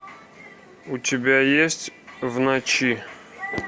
у тебя есть в ночи